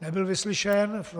Nebyl vyslyšen.